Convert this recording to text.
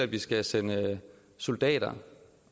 vi skal sende soldater